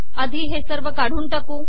आधी हे सवर काढून टाकू